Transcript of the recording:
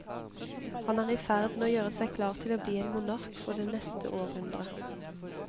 Han er i ferd med å gjøre seg klar til å bli en monark for det neste århundre.